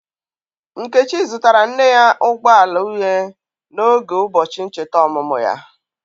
Nkechi zụtara nne ya ụgbọ ala uhie n'oge ụbọchị ncheta ọmụmụ ya.